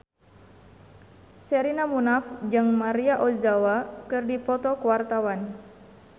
Sherina Munaf jeung Maria Ozawa keur dipoto ku wartawan